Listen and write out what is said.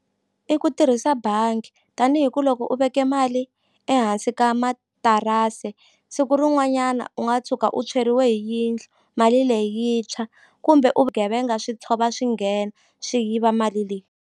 I ku tirhisa bangi tanihi ku loko u veke mali ehansi ka matirasi siku rin'wanyana u nga tshuka u tshweriwe hi yindlu mali leyi yi ntshwa kumbe u vugevenga swi tshova swi nghena swi yiva mali leyi.